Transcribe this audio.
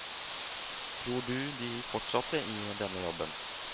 Tror du de fortsatte i denne jobben?